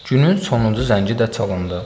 Günün sonuncu zəngi də çalındı.